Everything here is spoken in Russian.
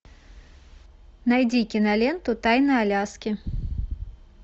найди киноленту тайны аляски